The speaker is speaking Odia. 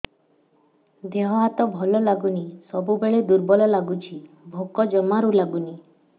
ଦେହ ହାତ ଭଲ ଲାଗୁନି ସବୁବେଳେ ଦୁର୍ବଳ ଲାଗୁଛି ଭୋକ ଜମାରୁ ଲାଗୁନି